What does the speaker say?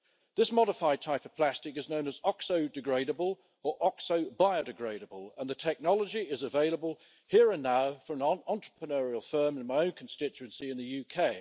This modified type of plastic is known as oxo degradable or oxo biodegradable, and the technology is available here and now from an entrepreneurial firm in my own constituency in the UK.